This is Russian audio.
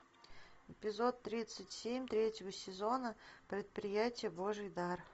эпизод тридцать семь третьего сезона предприятие божий дар